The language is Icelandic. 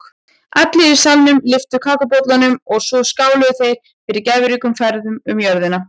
Allir í salnum lyftu kakóbollunum og svo skáluðu þeir fyrir gæfuríkum ferðum um jörðina.